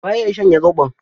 Waye ya shanye zoɓo?